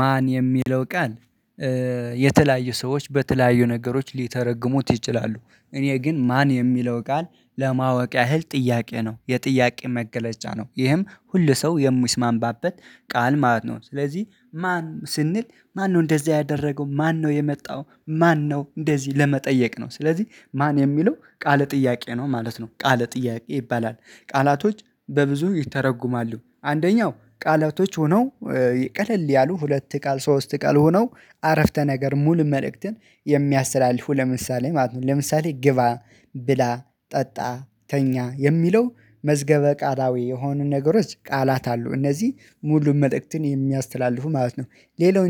ማን የሚለው ቃል የተለያዩ ሰዎች በተለያዩ ነገሮች ሊተረጉሙት ይችላሉ። እኔ ግን ማን የሚለው ቃል ለማወቅ ያህል ጥያቄ ነው የጥያቄ መገለጫ ነው ይህም ሁሉ ሰው የሚስማምባበት ቃል ማለት ነው። ስለዚህ ማን ስንል ማነው እንደዚህ ያደረገው ማነው የመጣው ማነው እንደዚህ ለመጠየቅ ነው ስለዚህ ማን የሚለው ቃል ጥያቄ ነው ማለት ነው። ቃል ጥያቄ ይባላል ቃላቶች በብዙ ይተረጉማሉ አንደኛው ቃላቶች ሆነው። ቀለል ያሉ ሁለት ቃል ሶስት ቃል ሆኖ አረፍተ ነገር ሙሉ መልእክትን የሚያስተላልፉ ለምሳሌ ማለት ነው ለምሳሌ ግባ ብላ ጠጣ ተኛ የሚለው መዝገበ ቃላዊ የሆኑ ነገሮች ቃላት አሉ እነዚህ ሙሉ መልእክትን የሚያስተላልፉ ማለት ነው። ሌላው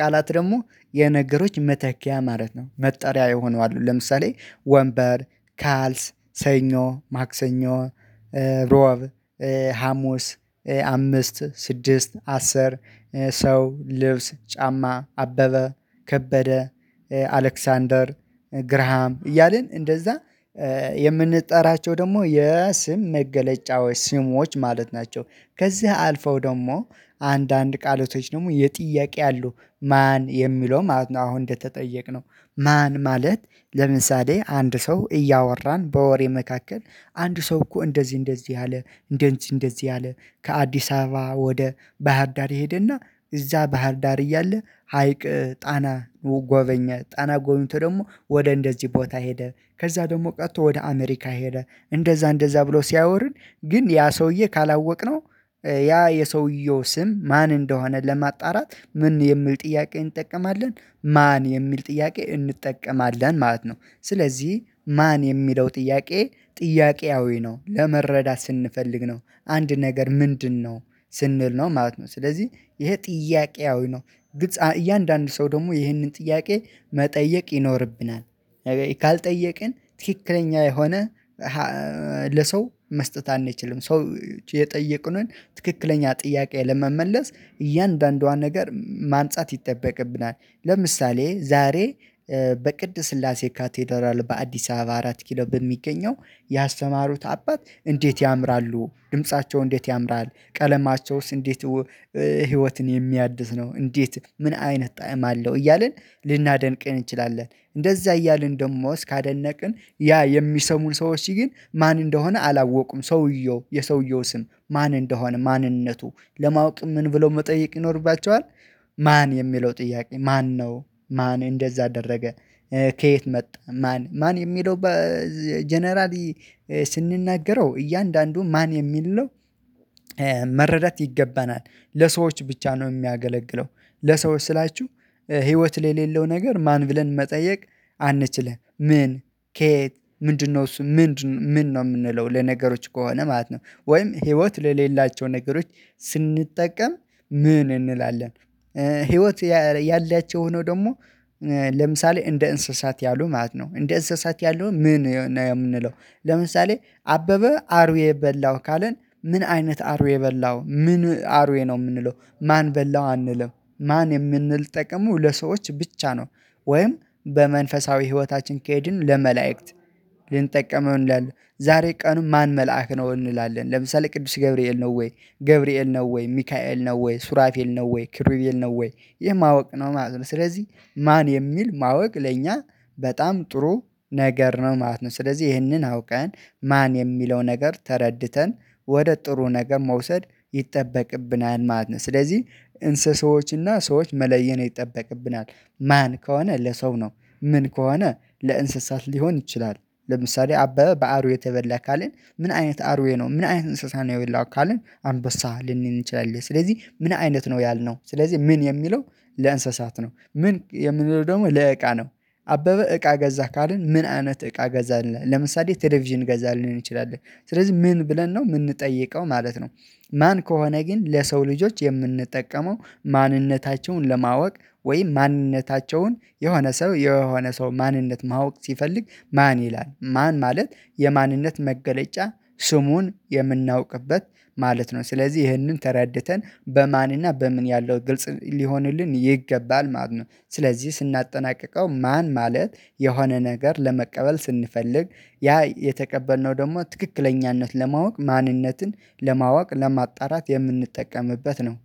ቃላት ደግሞ የነገሮች መተኪያ ማለት ነው መጠሪያ የሆነው አሉ ለምሳሌ ወንበር ካልስ ሰኞ ማክሰኞ ሮብ ሀሙስ አምስት ስድስት አስር ሰው ልብስ ጫማ አበበ ከበደ አሌክሳንደር ግራሃም እያልን እንደዛ የምንጠራቸው ደግሞ የስም መገለጫዎች ስሞች ማለት ናቸው። ከዚህ አልፈው ደግሞ አንዳንድ ቃሎች ደግሞ የጥያቄ አሉ ማን የሚለው ማለት ነው። አሁን እንደተጠየቅነው ማን ማለት ለምሳሌ አንድ ሰው እያወራን በወሬ መካከል አንድ ሰው እኮ እንደዚህ እንደዚህ አለ እንደዚህ እንደዚህ አለ። ከአዲስ አበባ ወደ ባህር ዳር ሄደና እዛ ባህር ዳር እያለ ሀይቅ ጣና ጎበኘ ጣና ጎብኝቶ ደግሞ ወደ እንደዚህ ቦታ ሄደ ከዛ ደግሞ ቀጥቶ ወደ አሜሪካ ሄደ እንደዛ እንደዛ ብሎ ሲያወሩን ግን ያ ሰውዬ ካላወቅነው ያ የሰውየው ስም ማን እንደሆነ ለማጣራት ምን የሚል ጥያቄ እንጠቀማለን ማን የሚል ጥያቄ እንጠቀማለን ማለት ነው። ስለዚህ ማን የሚለው ጥያቄ ጥያቄያዊ ነው ለመረዳት ስንፈልግ ነው አንድ ነገር ምንድነው ስንል ነው ማለት ነው ስለዚህ ይሄ ጥያቄያዊ ነው። እያንዳንዱ ሰው ደግሞ ይህንን ጥያቄ መጠየቅ ይኖርብናል ካልጠየቅን ትክክለኛ የሆነ ለሰው መስጠት አንችልም ሰው የጠየቅንን ትክክለኛ ጥያቄ ለመመለስ እያንዳንዷን ነገር ማንጻት ይጠበቅብናል። ለምሳሌ ዛሬ በቅድ ስላሴ ካቴዳራል በአዲስ አበባ አራት ኪሎ በሚገኘው ያስተማሩት አባት እንዴት ያምራሉ ድምፃቸው እንዴት ያምራል ቀለማቸውስ እንዴት ህይወትን የሚያድስ ነው እንዴት ምን አይነት ጣዕም አለው እያልን ልናደንቅ እንችላለን እንደዛ እያልን ደግሞ እስካደነቅን ያ የሚሰሙን ሰዎች ግን ማን እንደሆነ አላወቁም ሰውየው የሰውየው ስም ማን እንደሆነ ማንነቱ ለማወቅ ምን ብሎ መጠየቅ ይኖርባቸዋል። ማን የሚለው ጥያቄ ማነው ማን እንደዛ አደረገ ከየት መጣ ማን ማን የሚለው ጀነራል ስንናገረው እያንዳንዱ ማን የሚል መረዳት ይገባናል። ለሰዎች ብቻ ነው የሚያገለግለው ለሰዎች ስላችሁ ህይወት ለሌለው ነገር ማን ብለን መጠየቅ አንችልም ምን ከየት ምንድነው እሱ ምንድን ምን ነው የምንለው ለነገሮች ከሆነ ማለት ነው። ወይም ህይወት ለሌላቸው ነገሮች ስንጠቀም ምን እንላለን ህይወት ያላቸው ሆኖ ደግሞ ለምሳሌ እንደ እንስሳት ያሉ ማለት ነው እንደ እንስሳት ያሉ ምን የምንለው ለምሳሌ አበበ አሩዌ የበላው ካልን ምን አይነት አርዌ በላው ምን አርዌ ነው የምንለው ማን በላው አንልም ማን የምንል የምንጠቀሙ ለሰዎች ብቻ ነው። ወይም በመንፈሳዊ ህይወታችን ከሄድን ለመላእክት እንዳለ ዛሬ ቀኑ ማን መልአክ ነው እንላለን ለምሳሌ ቅዱስ ገብርኤል ነው ወይ ገብርኤል ነው ወይ ሚካኤል ነው ወይ ሱራፌል ነው ወይ ኪሩቤል ነው ወይ ይህ ማወቅ ነው ማለት ነው። ስለዚህ ማን የሚል ማወቅ ለኛ በጣም ጥሩ ነገር ነው ማለት ነው ስለዚህ ይህንን አውቀን ማን የሚለው ነገር ተረድተን ወደ ጥሩ ነገር መውሰድ ይጠበቅብናል ማለት ነው። ስለዚህ እንስሳዎች እና ሰዎች መለየት ይጠበቅብናል። ማን ከሆነ ለሰው ነው ምን ከሆነ ለእንስሳት ሊሆን ይችላል። ለምሳሌ አበበ በአርዌ ተበላ ካልን ምን አይነት አርዌ ነው ምን አይነት እንስሳ ነው የበላው ካልን አንበሳ ልንል እንችላለን ስለዚህ ምን አይነት ነው ያልነው ስለዚህ ምን የሚለው ለእንስሳት ነው ምን የምንለው ደግሞ ለእቃ ነው። አበበ እቃ ገዛህ ካልን ምን አይነት እቃ ገዛ ለምሳሌ ቴሌቪዥን ገዛ ሊሆን ይችላል ስለዚህ ምን ብለን ነው የምንጠይቀው ማለት ነው። ማን ከሆነ ግን ለሰው ልጆች የምንጠቀመው ማንነታቸውን ለማወቅ ወይ ማንነታቸውን የሆነ ሰው የሆነ ሰው ማንነት ማወቅ ሲፈልግ ማን ይላል ማን ማለት የማንነት መገለጫ ስሙን የምናውቅበት ማለት ነው። ስለዚህ ይህንን ተረድተን በማን እና በምን ያለው ግልጽ ሊሆንልን ይገባል ማለት ነው። ስለዚህ ስናጠናቅቀው ማን ማለት የሆነ ነገር ለመቀበል ስንፈልግ ያ የተቀበልነው ደግሞ ትክክለኛነትን ለማወቅ ማንነትን ለማወቅ ለማጣራት የምንጠቀምበት ነው